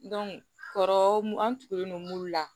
kɔrɔ mun an tugulen don mulu la